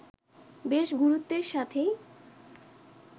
বেশ গুরুত্বের সাথেই